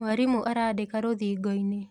Mwarimũ arandĩka rũthingoinĩ.